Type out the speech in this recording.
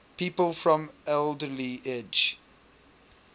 people from alderley edge